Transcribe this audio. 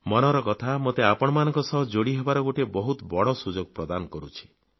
ମନ୍ କି ବାତ୍ ମୋତେ ଆପଣମାନଙ୍କ ସହ ଯୋଡିହେବାର ଗୋଟିଏ ବହୁତ ବଡ ସୁଯୋଗ ପ୍ରଦାନ କରୁଛି